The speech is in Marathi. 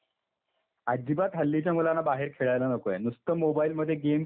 अजिबात हल्लीच्या मुलांना बाहेर खेळायला नकोय नुसतं मोबाईल मध्ये गेम खेळायला सांगा.